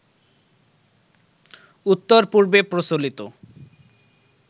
উত্তর পূর্বে প্রচলিত